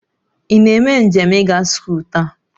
Ị na-eme njem ịga scholl taa?